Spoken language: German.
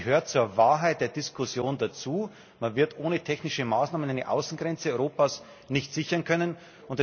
Es gehört zur Wahrheit bei der Diskussion dazu, dass man ohne technische Maßnahmen die Außengrenzen Europas nicht sichern können wird.